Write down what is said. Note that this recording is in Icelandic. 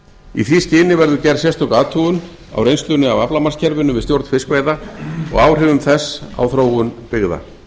í því skyni verður gerð sérstök athugun á reynslunni af aflamarkskerfinu við stjórn fiskveiða og áhrifum þess á þróun byggða